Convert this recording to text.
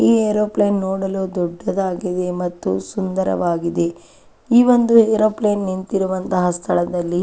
ಈ ಏರೋಪ್ಲೇನ್ ನೋಡಲು ದೊಡ್ಡದು ಹಾಗ್ ಇದೆ ಮತ್ತು ಸುಂದರವಾಗಿದೆ ಈ ಒಂದು ಏರೋಪ್ಲೇನ್ ನಿಂತಿರುವಂತಹ ಸ್ಥಳದಲ್ಲಿ.